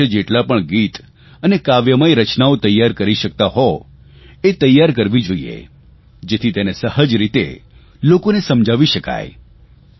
યોગ વિશે જેટલા પણ ગીત અને કાવ્યમય રચનાઓ તૈયાર કરી શકતા હોય એ તૈયાર કરવી જોઇએ જેથી તેને સહજ રીતે લોકોને સમજાવી શકાય